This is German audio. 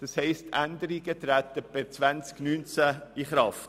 Das heisst, Änderungen treten per 2019 in Kraft.